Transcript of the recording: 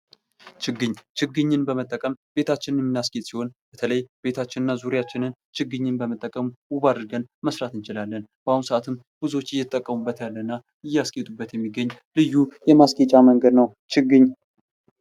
ችግኝ ችግኝን በመጠቀም ቤታችንን የምናስጌጥ ሲሆን በተለይ ቤታችንን ዙሪያችንን ችግኝ በመጠቀም ውብ አድርገን መስራት እንችላለን በአሁኑ ሰአትም ብዙዎች እየተጠቀሙበት ያለ እና እያስጌጡበት ይህ እና ልዩ የማስጌጫ መንገድ ነው ችግኝ።